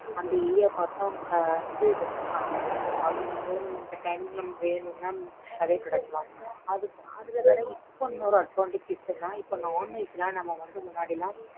அந்த area பார்த்து அவங்க வந்து வெட்சுருபாங்க. அபடிங்கும்போது நமக்கு இந்த time க்கு வேணும்னா நமக்கு fresh ஆவே கிடைக்கும். அதுலவேற இப்போ இன்னொரு advantages இருக்குன்னா non-veg லாம் நம்ம வந்து முன்னடிலாம்.